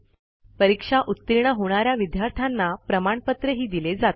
परीक्षा उतीर्ण होणा या विद्यार्थ्यांना प्रमाणपत्रही दिले जाते